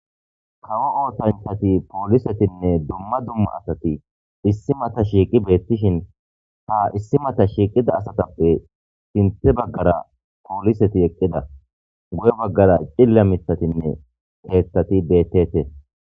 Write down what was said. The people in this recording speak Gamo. Kawo ootanthati poolisetinne dumma dumma asati issi mata shiiqi beettishin ha issi mata shiiqida asatappe sinthe baggara pooliseti eqqida guye baggara cilla mitatinne qeeththati beettete